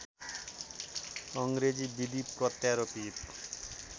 अङ्ग्रेजी विधि प्रत्यारोपित